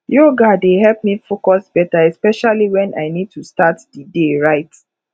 yoga dey help me focus better especially when i need to start the day right